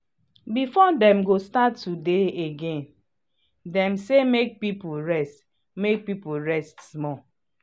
before dem start to dey again dem say make people rest make people rest small